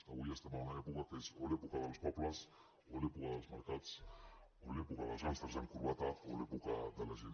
avui estem en una època que és o l’època dels pobles o l’època dels mercats o l’època dels gàngsters amb corbata o l’època de la gent